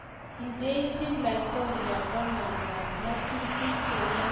Indijin laitoriat Donald trump ngatutik che wole pik che toek en emenyin